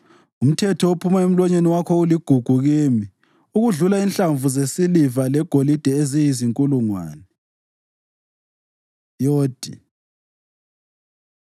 Umthetho ophuma emlonyeni wakho uligugu kimi okudlula inhlamvu zesiliva legolide eziyizinkulungwane. י Yodh